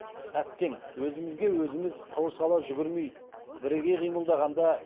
әттең өзімізге өзіміз қылыш ала жүгірмей біріге қимылдағанда